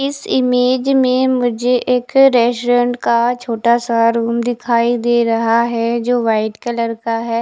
इस इमेज में मुझे एक रेस्टोरेंट का छोटा सा रूम दिखाई दे रहा है जो वाइट कलर का है।